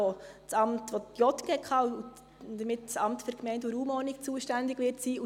Verantwortlich wird die JGK und das AGR somit zuständig sein.